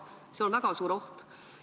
See on väga suur oht.